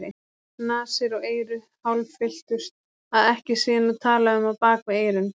Nasir og eyru hálffylltust, að ekki sé nú talað um á bak við eyrun.